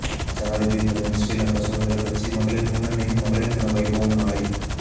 ஜனாதிபதி தலைமையில் ஸ்ரீலங்கா சுதந்திரக் கட்சி மகளிர் முன்னணியின் மகளிர் தின வைபவம் நாளை